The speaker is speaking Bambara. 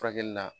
Furakɛli la